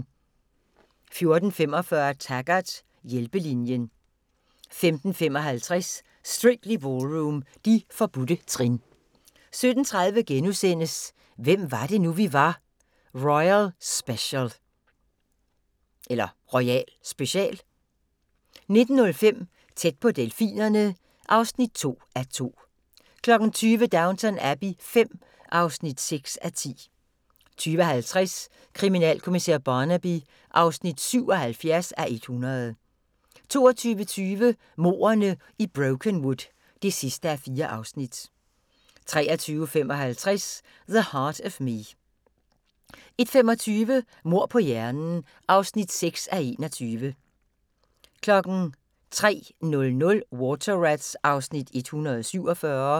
14:45: Taggart: Hjælpelinjen 15:55: Strictly Ballroom – De forbudte trin 17:30: Hvem var det nu, vi var - royal special * 19:05: Tæt på delfinerne (2:2) 20:00: Downton Abbey V (6:10) 20:50: Kriminalkommissær Barnaby (77:100) 22:20: Mordene i Brokenwood (4:4) 23:55: The Heart of Me 01:25: Mord på hjernen (6:21) 03:00: Water Rats (147:177)